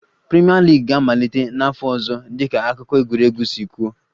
Premier League ga-amalite n'afọ ọzọ dịka akụkọ egwuregwu si kwuo